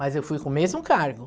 Mas eu fui com o mesmo cargo.